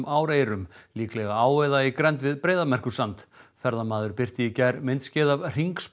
áreyrum líklega á eða í grennd við Breiðamerkursand ferðamaður birti í gær myndskeið af